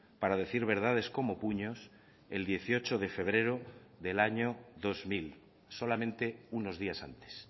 para decir verdades como puños el dieciocho de febrero del año dos mil solamente unos días antes